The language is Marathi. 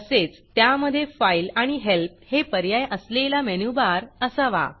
तसेच त्यामधे Fileफाइल आणि Helpहेल्प हे पर्याय असलेला मेनूबार असावा